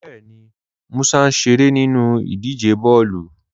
Bẹẹni, Músà n ṣeré nínu idíje bọọlu.